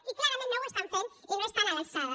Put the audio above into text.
i clarament no ho estan fent i no estan a l’alçada